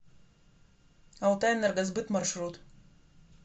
алтайэнергосбыт маршрут